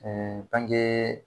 Ɛɛ bange